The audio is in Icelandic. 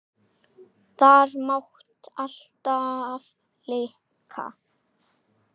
Þar mátti alltaf leika.